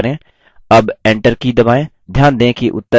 अब enter key दबाएँ